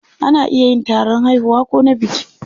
Ana iya yin taron haihuwa ko na biki.